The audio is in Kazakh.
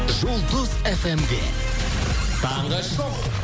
жұлдыз фмде таңғы шоу